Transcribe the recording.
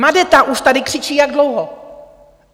Madeta už tady křičí jak dlouho?